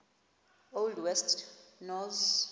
old west norse